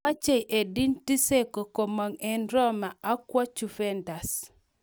Mochei Edin Dzeko komong' eng Roma ak kowo Juventus